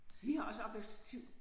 Vi har også opvaskestativ